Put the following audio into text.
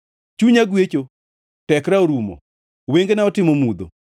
Chunya gwecho, tekra orumo; wengena otimo mudho.